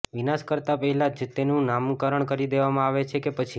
વિનાશ કરતા પહેલા જ તેનું નામકરણ કરી દેવામાં આવે છે કે પછી